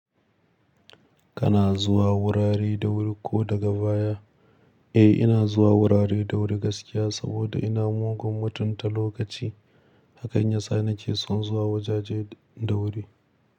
Kana zuwa wurare da wuri ko daga baya? Eh ina zuwa wurare da wuri gaskiya saboda ina mugun mutunta lokaci. Hakan yasa nake son zuwa wajaje da wuri.